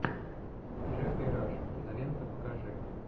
джеффри раш кинолента покажи